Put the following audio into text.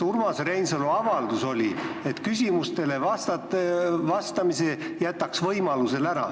Urmas Reinsalu avalduses oli, et küsimustele vastamise jätaks ta võimaluse korral ära.